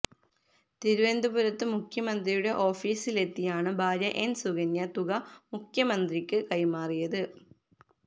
തിരുവനന്തപുരത്ത് മുഖ്യമന്ത്രിയുടെ ഓഫീസിലെത്തിയാണ് ഭാര്യ എന് സുകന്യ തുക മുഖ്യമന്ത്രിക്ക് കൈമാറിയത്